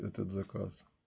этот заказ